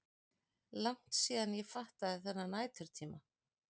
Langt síðan ég fattaði þennan næturtíma.